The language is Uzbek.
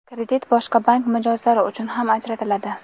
Kredit boshqa bank mijozlari uchun ham ajratiladi.